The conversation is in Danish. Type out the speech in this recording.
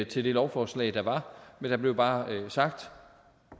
til det lovforslag der var men der blev bare sagt